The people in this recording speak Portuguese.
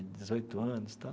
Dezoito anos e tal.